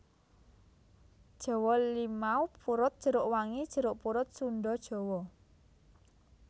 Jawa limau purut jeruk wangi jeruk purut Sunda Jawa